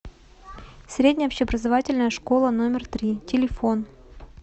средняя общеобразовательная школа номер три телефон